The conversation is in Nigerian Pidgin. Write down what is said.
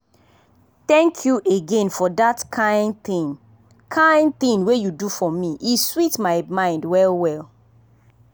thank you again for that kind thing kind thing wey you do for me e sweet my mind well well.